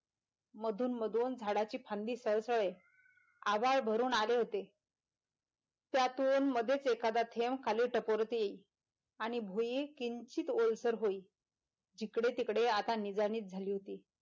मधून मधून झाडाची फांदी सळसळे आभाळ भरून आले होते त्यातून मधेच एखादा थेंब खाली टपोरती येई आणि भुई किंचित ओलसर येई जिकडे तिकडे आता निजानीज झाली होती.